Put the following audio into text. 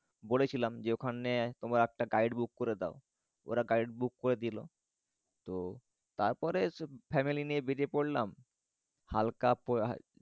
বলেছিলাম যে ওখানে তোমরা একটা guide book করে দাও। ওরা guide book করে দিলো। তো তারপরে family নিয়ে বেড়িয়ে পরলাম। হাল্কা